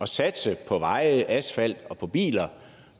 satse på veje asfalt og på biler